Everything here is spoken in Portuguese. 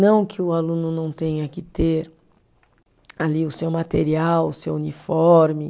Não que o aluno não tenha que ter ali o seu material, o seu uniforme.